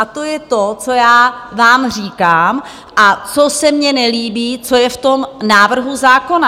A to je to, co já vám říkám a co se mně nelíbí, co je v tom návrhu zákona.